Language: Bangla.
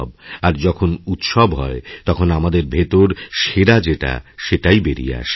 আর যখন উৎসব হয় তখন আমাদের ভেতর সেরা যেটাসেটাই বেরিয়ে আসে